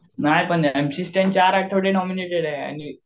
नाही पण M C Stan चार आठवडे नॉमिनेटेड आहे आणि